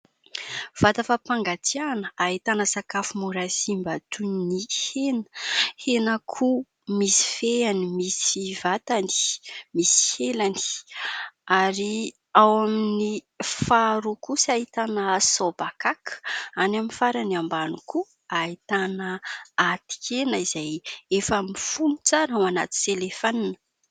Vata fampangatsiahana ahitana sakafo mora simba toy ny hena , henan'akoho misy fehany , misy vatany , misy elany ; ary ao amin'ny faharoa kosa ahitana sobakaka ; any amin'ny farany ambany koa ahitana atikena izay efa mifono tsara ao anaty selefanina.